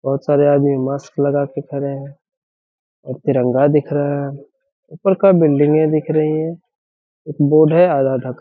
बहुत सारे आदमी मास्क लगा के खड़े हैं और तिरंगा दिख रहा है ऊपर का बिल्डिंगे दिख रहीं हैं बोर्ड है आधा-आधा का --